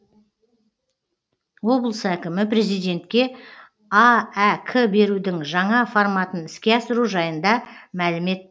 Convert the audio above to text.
облыс әкімі президентке аәк берудің жаңа форматын іске асыру жайында мәлімет